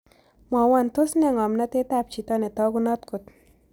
Mwawon tos' nee ng'omnatetap chito netaagunot kot